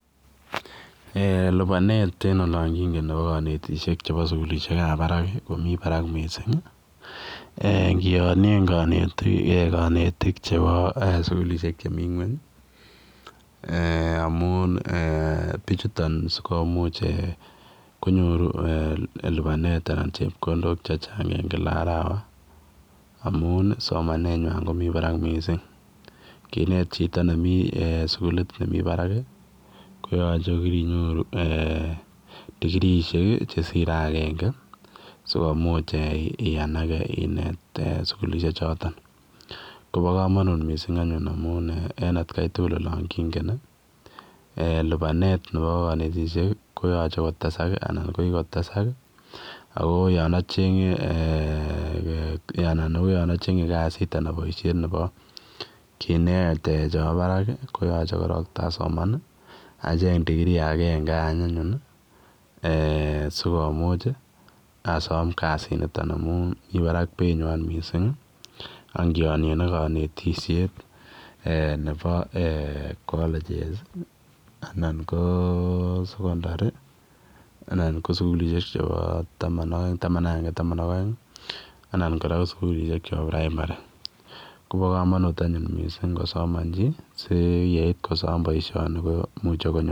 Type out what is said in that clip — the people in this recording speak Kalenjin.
Eeh lupaneet nebo kanetisyeek nebo sugulisheek ab Barak ii komii barak missing missing ingianien kanetiik chebo sugulisheek chemii kweeny amuun bichutoon ko eeh lupaneet en kila arawa amuun somanet nywaany komii Barak missing kinet chitoo nemii sugulita nebo barak ko yachei ko kirinyoruu digriisiek che sirei agenge sikomuuch eeh iyanagae inet sugulisheek chotoon kobaa kamanuut missing anyuun amuun en at kai tugul olaan kingeen lupaneet nebo kanetisyeek koyachei kotesaak anan ko kikotesaak ii ako anan ko yaan achengei kasiit anan boisiet nebo kineet nebo Barak koyachei taacheeng digrii eeh sikomuuch asaam kasiit nitoon amuun Mii barak beit nywaany missing ak kiaanien ak kanetisyeet eeh nebo college's anan ko sugulisheek chebo taman ak ange anan taman ak aeng anan ko sugulisheek chebo primary kobaa kamanuut anyuun ingosomaan chii si koit.